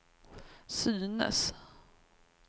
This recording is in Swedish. synes